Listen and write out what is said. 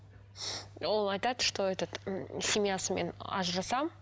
ол айтады что этот семьясымен ажырасамын